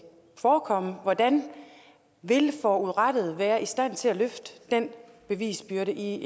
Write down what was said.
forekomme hvordan vil forurettede være i stand til at løfte den bevisbyrde i